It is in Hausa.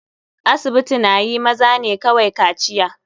Asibiti na yi maza ne kawai kaciya.